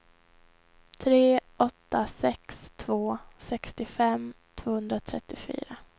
tre åtta sex två sextiofem tvåhundratrettiofyra